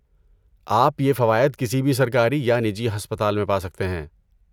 آپ یہ فوائد کسی بھی سرکاری یا نجی ہسپتال میں پا سکتے ہیں۔